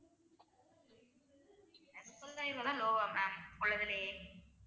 முப்பதாயிரம் ரூபாய் தான் low வா ma'am உள்ளத்துலையே